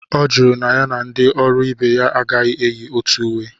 Ọ jụrụ na ya na ndị ọrụ ibe ya agaghi enyi otu uwe